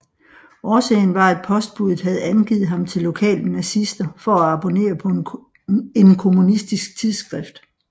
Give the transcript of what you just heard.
Årsagen var at postbudet havde angivet ham til lokale nazister for at abonnere på en kommunistisk tidsskrift